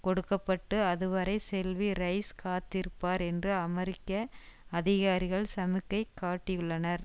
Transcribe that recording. கொடுக்க பட்டு அதுவரை செல்வி ரைஸ் காத்திருப்பார் என்று அமெரிக்க அதிகாரிகள் சமிக்கை காட்டியுள்ளனர்